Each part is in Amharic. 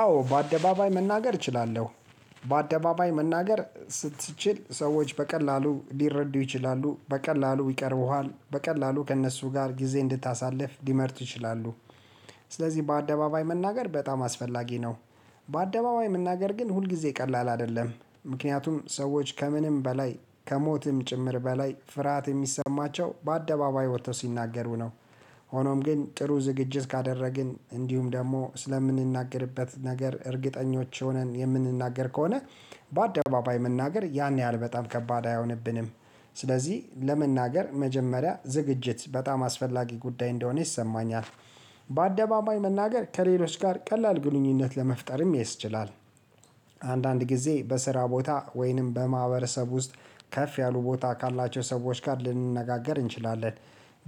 አዎ በአደባባይ መናገር እችላለሁ በአደባባይ መናገር ስትችል ሰዎች በቀላሉ ሊረዱህ ይችላሉ በቀላሉ ይቀርቡሃል በቀላሉ ከእነሱ ጋር ጊዜ እንድታሳልፍ ሊመርጥ ይችላሉ። ስለዚህ በአደባባይ መናገር በጣም አስፈላጊ ነው። በአደባባይ መናገር ግን ሁልጊዜ ቀላል አይደለም ምክንያቱም ሰዎች ከምንም በላይ ከሞትም ጭምር በላይ ፍርሃት የሚሰማቸው በአደባባይ ወጥተው ሲናገሩ ነው። ሆኖም ግን ጥሩ ዝግጅት ካደረግን እንዲሁም ደግሞ ስለምንናገርበት ነገር እርግጠኞች ሆነን የምንናገር ከሆነ በአደባባይ መናገር ያን ያህል በጣም ከባድ አይሆንብንም። ስለዚህ ለመናገር መጀመሪያ ዝግጅት በጣም አስፈላጊ ጉዳይ እንደሆነ ይሰማኛል። በአደባባይ መናገር ከሌሎች ጋር ቀላል ግንኙነት ለመፍጠርም ያስችላል። አንዳንድ ጊዜ በስራ ቦታ ወይንም በማህበረሰብ ውስጥ ከፍ ያሉ ቦታ ካላቸው ሰዎች ጋር ልንነጋገር እንችላለን።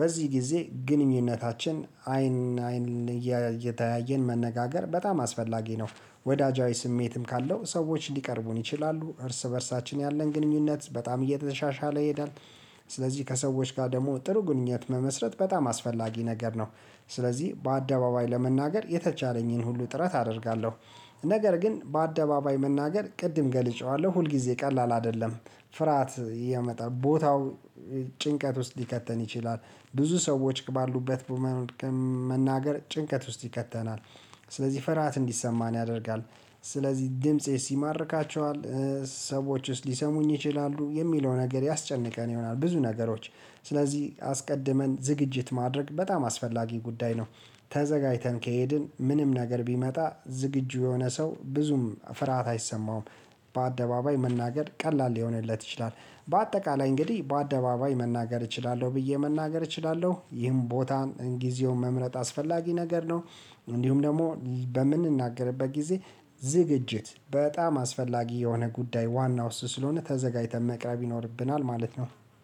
በዚህ ጊዜ ግንኙነታችን አይን አይን እየተያየን መነጋገር በጣም አስፈላጊ ነው። ወዳጃዊ ስሜትም ካለው ሰዎች ሊቀርቡን ይችላሉ እርስ በእርሳችን ያለን ግንኙነት በጣም እየተሻሻለ ይሄዳል። ስለዚህ ከሰዎች ጋር ደግሞ ጥሩ ግንኙነት መመስረት በጣም አስፈላጊ ነገር ነው። ስለዚህ በአደባባይ ለመናገር የተቻለኝን ሁሉ ጥረት አደርጋለሁ። ነገር ግን በአደባባይ መናገር ቅድም ገልጬዋለሁ ሁልጊዜ ቀላል አይደለም። ፍርሃት ያመጣል ቦታው ጭንቀት ውስጥ ሊከተን ይችላል። ብዙ ሰዎች ባሉበት መናገር ጭንቀት ውስጥ ይከተናል። ስለዚህ ፍርሃት እንዲሰማን ያደርጋል ስለዚህ ድምፄስ ይማርካቸዋል። ሰዎች ውስጥ ሊሰሙኝ ይችላሉ የሚለው ነገር ያስጨንቀን ይሆናል ብዙ ነገሮች ስለዚህ አስቀድመን ዝግጅት ማድረግ በጣም አስፈላጊ ጉዳይ ነው። ተዘጋጅተን ከሄድን ምንም ነገር ቢመጣ ዝግጁ የሆነ ሰው ብዙም ፍርሃት አይሰማውም። በአደባባይ መናገር ቀላል ሊሆንለት ይችላል። በአጠቃላይ እንግዲህ በአደባባይ መናገር እችላለሁ ብዬ መናገር እችላለሁ ይህን ቦታን ጊዜውን መምረጥ አስፈላጊ ነገር ነው። እንዲሁም ደግሞ በምንናገርበት ጊዜ ዝግጅት በጣም አስፈላጊ የሆነ ጉዳይ ዋናው እሱ ስለሆነ ተዘጋጅተን መቅረብ ይኖርብናል ማለት ነው